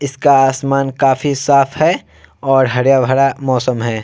इसका आसमान काफी साफ है और हरा-भरा मौसम है ।